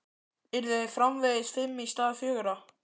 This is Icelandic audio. Yrðu þeir framvegis fimm í stað fjögurra?